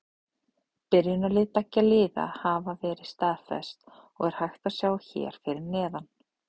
Byrjunarlið beggja liða hafa verið staðfest og er hægt að sjá hér fyrir neðan.